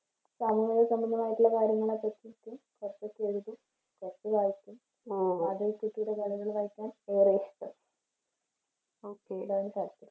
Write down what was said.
സംഗീതസംബന്ധമായിട്ടുള്ള കാര്യങ്ങളെ പറ്റിയിട്ട് ഏറെ ഇഷ്ടം okay അതാണ് താല്പര്യം.